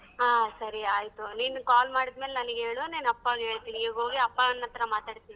ಹಾ ಸರಿ ಆಯ್ತು ನೀನ್ call ಮಾಡಿದ್ಮೇಲ್ ನನಿಗ್ ಹೇಳು ನಾನಪ್ಪಗೆ ಹೇಳ್ತೀನಿ ಇಗೋಗಿ ಅಪ್ಪಾ ಹತ್ತರ ಮಾತಾಡ್ತೀನಿ.